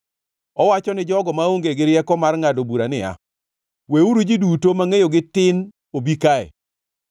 Owacho ni jogo maonge gi rieko mar ngʼado bura niya, “Weuru ji duto mangʼeyogi tin obi kae!”